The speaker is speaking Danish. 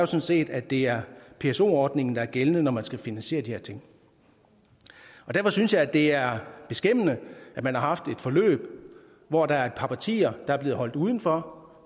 set at det er pso ordningen der er gældende når man skal finansiere de her ting derfor synes jeg det er beskæmmende at man har haft et forløb hvor der er et par partier der er blevet holdt udenfor